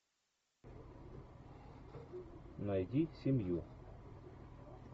найди семью